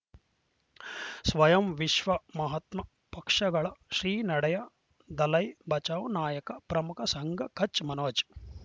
ಸ್ವಯಂ ವಿಶ್ವ ಮಹಾತ್ಮ ಪಕ್ಷಗಳ ಶ್ರೀ ನಡೆಯ ದಲೈ ಬಚೌ ನಾಯಕ ಪ್ರಮುಖ ಸಂಘ ಕಚ್ ಮನೋಜ್